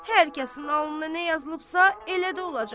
Hər kəsin alnına nə yazılıbsa elə də olacaq.